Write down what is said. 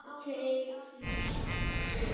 Börn þeirra voru